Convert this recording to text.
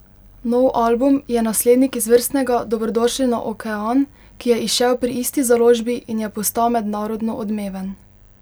Nov album je naslednik izvrstnega Dobrodošli na okean, ki je izšel pri isti založbi, in je postal mednarodno odmeven.